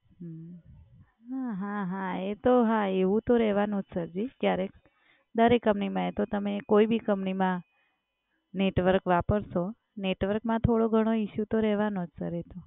હમ્મ હા હા હા એ તો હા એવુ તો રેહવાનું સરજી ક્યારેક, દરેક કંપનીમાં એ તો તમે કોઈ ભી કંપનીમાં network વાપરશો network માં થોડો ઘણો issue તો રહેવોજ સર એ તો